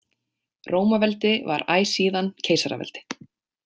Rómaveldi var æ síðan keisaraveldi.